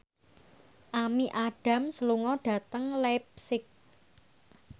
Amy Adams lunga dhateng leipzig